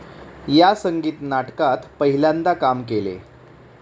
या संगीत नाटकात पहिल्यांदा काम केले